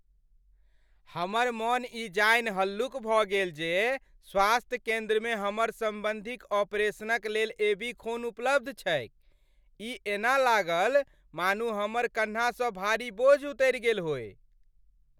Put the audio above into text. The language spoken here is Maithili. हमर मन ई जानि हल्लुक भऽ गेल जे स्वास्थ्य केन्द्रमे हमर सम्बन्धीक ऑपरेशनक लेल एबी खून उपलब्ध छैक। ई एना लागल मानू हमर कन्हासँ भारी बोझ उतरि गेल होय।